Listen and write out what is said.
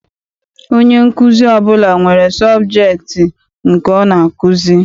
Onye nkuzi ọbụla nwere sọbjektị nke ọ na-akụzi.